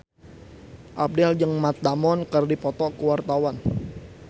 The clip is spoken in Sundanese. Abdel jeung Matt Damon keur dipoto ku wartawan